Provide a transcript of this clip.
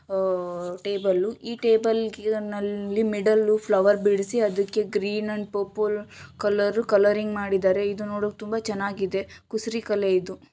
ಅಹ್ table ಈ table ನಲ್ಲಿಮಿಡ್ಲ್ flower ಬಿಡಿಸಿ ಅದಕ್ಕೆ green and purple colour colouring ಮಾಡಿದ್ದಾರೆ.ಇದು ನೋಡು ತುಂಬಾ ಚೆನ್ನಾಗಿದೆ. ಕುಸುರಿ ಕಲೆ ಇದು.